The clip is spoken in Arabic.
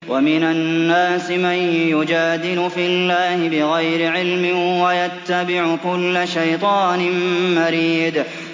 وَمِنَ النَّاسِ مَن يُجَادِلُ فِي اللَّهِ بِغَيْرِ عِلْمٍ وَيَتَّبِعُ كُلَّ شَيْطَانٍ مَّرِيدٍ